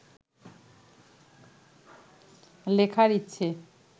লেখার ইচ্ছে